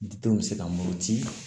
Didenw bɛ se ka muruti